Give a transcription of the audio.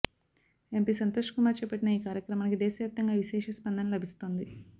MP Santosh Kumar చేపట్టిన ఈ కార్యక్రమానికి దేశవ్యాప్తంగా విశేష స్పందన లభిస్తోంది